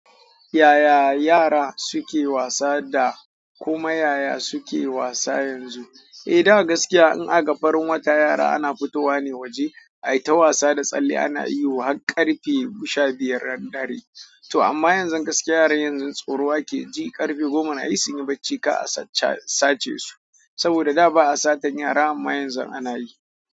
Yaya yara suke wasa da kuma yaya suke wasa yanzu? Eh da gaskiya in akaga farin wata yara ana fitowa ne waje, aita wasa da tsalle ana ihu har ƙarfe biy. Sha biyar dare. To amma yanzun gaskiya yaran yanzu tsoro akeji, ƙarfe goma nayi sunyi bacci ka'a kada a sace su. Saboda da ba'a satan yara amma yanzu ana yi.